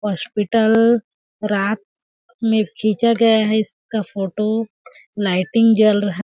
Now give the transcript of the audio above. hospital रात में खिंचा गया है इसका फ़ोटो लाइटिंग जल रहा--